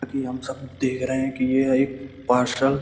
की हम सब देख रहे है की यह एक पार्सल --